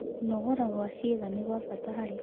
Kũnogora kwa ciĩga nĩ gwa bata harĩ